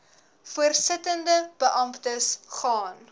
voorsittende beamptes gaan